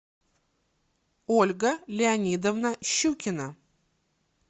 ольга леонидовна щукина